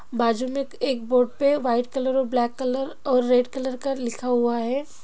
बाजू में एक बोर्ड पे वाइट कलर और ब्लैक कलर और रेड कलर का लिखा हुआ है।